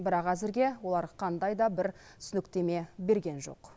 бірақ әзірге олар қандай да бір түсініктеме берген жоқ